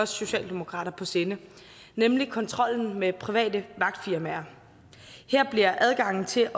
socialdemokratiet på sinde nemlig kontrollen med private vagtfirmaer her bliver adgangen til